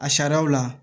A sariyaw la